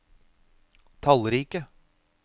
tallrike